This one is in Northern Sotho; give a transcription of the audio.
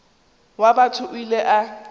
wa batho o ile a